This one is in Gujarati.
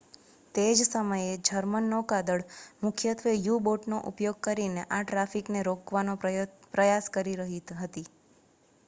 તે જ સમયે જર્મન નૌકાદળ મુખ્યત્વે યુ-બોટનો ઉપયોગ કરીને આ ટ્રાફિકને રોકવાનો પ્રયાસ કરી રહી હતી